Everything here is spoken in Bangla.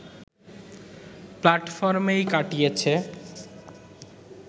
প্ল্যাটফর্মেই কাটিয়েছে